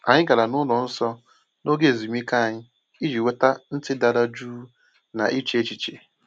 Anyị gara ụlọ nsọ n’oge ezumike anyị iji nweta ntị dara jụụ na iche echiche.